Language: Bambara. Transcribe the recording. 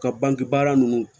Ka banke baara ninnu